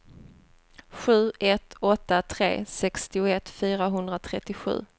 sju ett åtta tre sextioett fyrahundratrettiosju